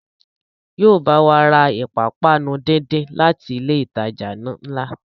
Yóò bá wa ra ìpápánu díndín láti ilé ìtajà ńlá